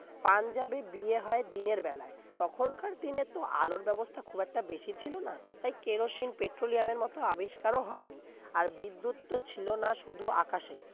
পাঞ্জাবি বিয়ে হয় দিনের বেলায় তখনকার দিনে তো আলোর ব্যবস্থা খুব একটা বেশি ছিল না তাই কেরোসিন পেট্রোলিয়ামের মত আবিষ্কারও হয়নি আর বিদ্যুৎ তো ছিল না শুধু আকাশেই